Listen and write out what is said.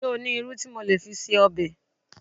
Ṣé o ní irú tí mo lè fi se ọbẹ̀?